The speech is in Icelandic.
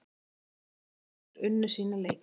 Fylkir og Valur unnu sína leiki